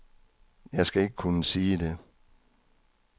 Jeg skal ikke kunne sige det.